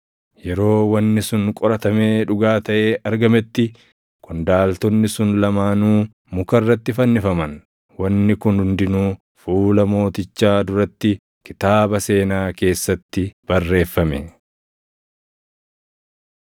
Yeroo wanni sun qoratamee dhugaa taʼee argametti qondaaltonni sun lamaanuu muka irratti fannifaman. Wanni kun hundinuu fuula mootichaa duratti kitaaba seenaa keessatti barreeffame.